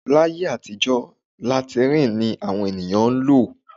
Láyé àtijọ́ làtíìnì ni àwọn ènìyàn ń lò